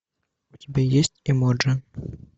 у тебя есть эмоджи